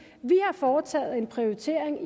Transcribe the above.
vi har foretaget en prioritering og